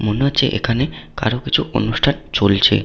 মনে হচ্ছে এখানে কারো কিছু অনুষ্ঠান চলছে।